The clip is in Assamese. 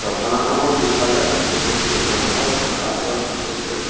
জপনাখনৰ পিছফালে বহুতো জংঘল দেখা পোৱা গৈছে।